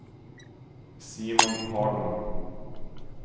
Simon Hagman